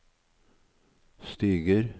stiger